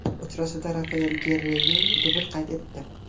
Uchrashuvda Rafael Gerreyru dubl qayd etdi.